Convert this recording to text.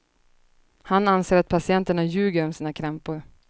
Han anser att patienterna ljuger om sina krämpor.